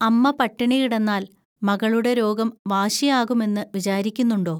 അമ്മ പട്ടിണി കിടന്നാൽ മകളുടെ രോഗം വാശിയാകുമെന്നു വിചാരിക്കുന്നുണ്ടോ